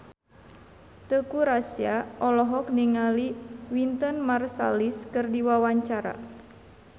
Teuku Rassya olohok ningali Wynton Marsalis keur diwawancara